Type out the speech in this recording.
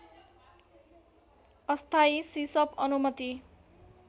अस्थायी सिसप अनुमति